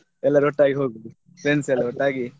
ಎಲ್ಲರು ಒಟ್ಟಾಗಿ ಹೋಗುದು friends ಎಲ್ಲ ಒಟ್ಟಾಗಿ.